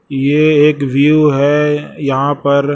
ये एक व्यू है यहां पर--